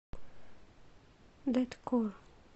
дэткор